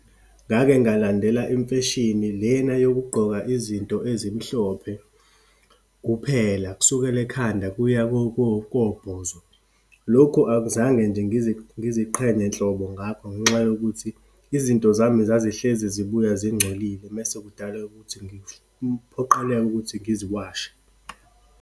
Ngake ngalandela imfeshini lena yokugqoka izinto ezimhlophe kuphela, kusukela ekhanda kuya kobhozo. Lokhu akuzange nje ngiziqhenye nhlobo ngakho ngenxa yokuthi, izinto zami zazihlezi zibuya zingcolile, mese kudala ukuthi kuphoqeleke ukuthi ngiziwashe.